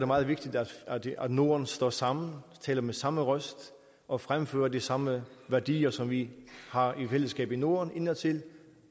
meget vigtigt at norden står sammen og taler med samme røst og fremfører de samme værdier som vi har i fællesskab i norden indadtil